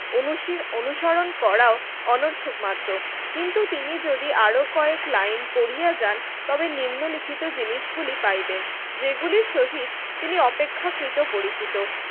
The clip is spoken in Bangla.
অনুসরণ করাও অনর্থক মাত্র কিন্তু তিনি যদি আরো কয়েক লাইন পড়িয়া যান তবে নিম্নলিখিত জিনিসগুলি পাইবেন যেগুলির সহিত তিনি অপেক্ষা কৃত পরিচিত